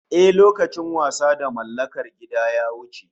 Haka ne, lokacin wasa da mallakar gida ya wuce